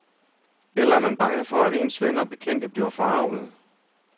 Eller er man bange for, at ens venner og bekendte bliver forargede.